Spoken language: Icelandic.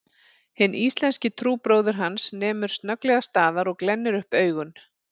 Hinn íslenski trúbróðir hans nemur snögglega staðar og glennir upp augun